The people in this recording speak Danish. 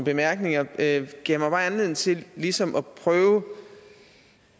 bemærkninger gav mig anledning til ligesom at prøve